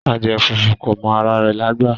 Adiẹ fúnfún kò mọ àrà rẹ̀lágbà